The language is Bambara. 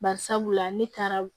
Bari sabula ne taara